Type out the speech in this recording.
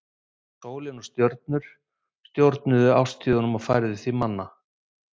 sólin og stjörnurnar stjórnuðu árstíðunum og því fæðu manna